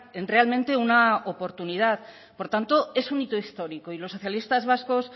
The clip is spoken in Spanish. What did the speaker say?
en realmente una oportunidad por tanto es un hito histórico y los socialistas vascos